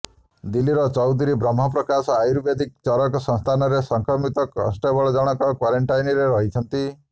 ଦିଲ୍ଲୀର ଚୌଧୁରୀ ବାହ୍ମ ପ୍ରକାଶ ଆୟୁର୍ବେଦିକ ଚରକ ସଂସ୍ଥାନରେ ସଂକ୍ରମିତ କନେଷ୍ଟବଳ ଜଣକ କ୍ୱାରେନଣ୍ଟାଇନରେ ରହିଛନ୍ତି